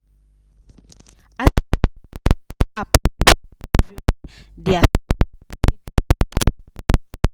as their main app mess up everywhere their stock sharpaly drop 5%